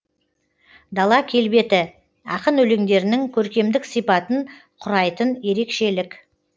дала келбеті ақын өлеңдерінің көркемдік сипатын құрайтын ерекшелік